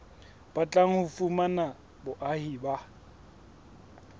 batlang ho fumana boahi ba